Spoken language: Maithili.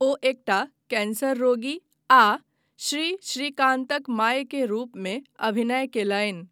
ओ एकटा कैंसर रोगी आ श्री श्रीकान्तक माय के रूपमे अभिनय कयलनि।